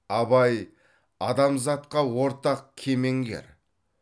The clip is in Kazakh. абай адамзатқа ортақ кемеңгер